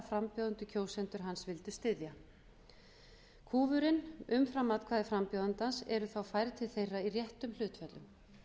frambjóðendur kjósandi hans vildi styðja kúfurinn umfram atkvæði frambjóðandans eru þá færð til þeirra í réttum hlutföllum